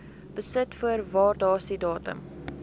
besit voor waardasiedatum